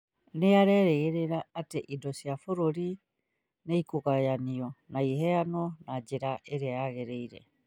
Nĩ arerĩgĩrĩra atĩ indo cia bũrũri nĩ ikũgayanio na iheanwo na njĩra ĩrĩa yagĩrĩire.